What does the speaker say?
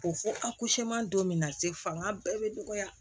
Ko fɔ a don min na se fanga bɛɛ bɛ dɔgɔya